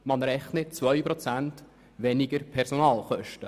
Das ergibt bereits um 2 Prozent tiefere Personalkosten.